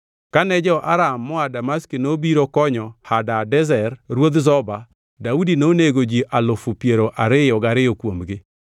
Kane jo-Aram moa Damaski obiro konyo Hadadezer ruodh Zoba, Daudi nonego ji alufu piero ariyo gariyo kuomgi.